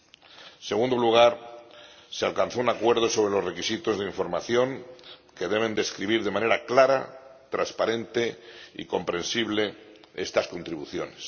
En segundo lugar, se alcanzó un acuerdo sobre los requisitos de información, que deben describir de manera clara, transparente y comprensible estas contribuciones.